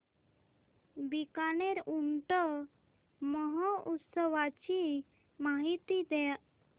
बीकानेर ऊंट महोत्सवाची माहिती द्या